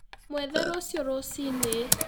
Mwethe rũciũ rũci-inĩ